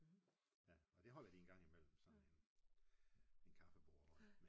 Ja og det holder de engang imellem sådan en en kaffebord